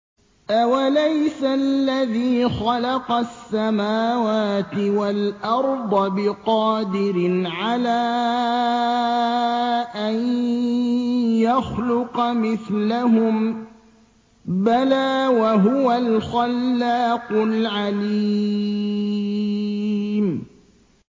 أَوَلَيْسَ الَّذِي خَلَقَ السَّمَاوَاتِ وَالْأَرْضَ بِقَادِرٍ عَلَىٰ أَن يَخْلُقَ مِثْلَهُم ۚ بَلَىٰ وَهُوَ الْخَلَّاقُ الْعَلِيمُ